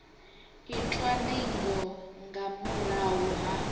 itwa ndingo nga murahu ha